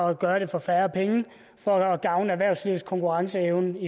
at gøre det for færre penge for at gavne erhvervslivets konkurrenceevne